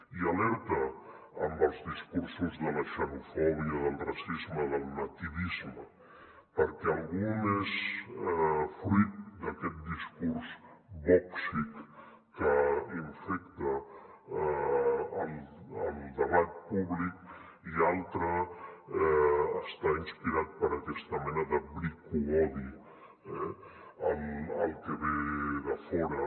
i alerta amb els discursos de la xenofòbia del racisme del nativisme perquè algun és fruit d’aquest discurs vòxic que infecta el debat públic i algun altre està inspirat per aquesta mena de bricoodi al que ve de fora